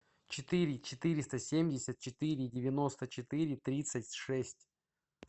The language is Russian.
четыре четыреста семьдесят четыре девяносто четыре тридцать шесть